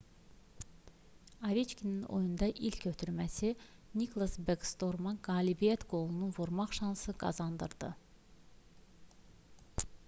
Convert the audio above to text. oveçkinin oyunda ilk ötürməsi niklas bekstorma qalibiyyət qolunu vurmaq şansı qazandırdı